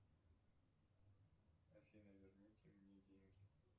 афина верните мне деньги